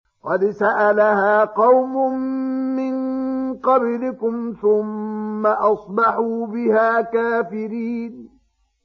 قَدْ سَأَلَهَا قَوْمٌ مِّن قَبْلِكُمْ ثُمَّ أَصْبَحُوا بِهَا كَافِرِينَ